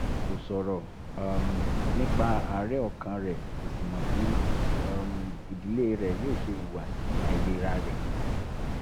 kò sọ̀rọ̀ um nípa àárẹ̀ ọkàn rẹ̀ kò sì mọ bí um ìdílé rẹ̀ yóò ṣe hùwà sí àìlera rẹ̀